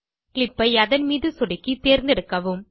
clip ஐ அதன் மீது சொடுக்கி தேர்ந்தெடுக்கவும்